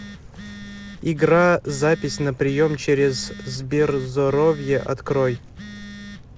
игра запись на прием через сберзоровье открой